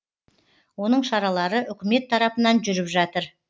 оның шаралары үкімет тарапынан жүріп жатыр